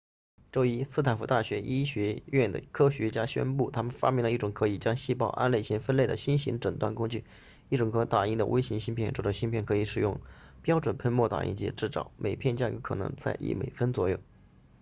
周一斯坦福大学医学院的科学家宣布他们发明了一种可以将细胞按类型分类的新型诊断工具一种可打印的微型芯片这种芯片可以使用标准喷墨打印机制造每片价格可能在一美分左右